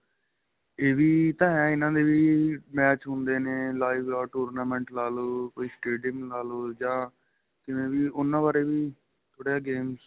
ਇਹ ਵੀ ਤਾਂ ਏਹ ਇਹਨਾ ਦੇ ਵੀ match ਹੁੰਦੇ ਨੇ live ਲਾਲੋ tournament ਲਾਲੋ ਕੋਈ stadium ਲਾਲੋ ਜਾਂ ਕਿਵੇਂ ਵੀ ਉਹਨਾ ਬਾਰੇ ਵੀ ਥੋੜਾ ਜਾਂ game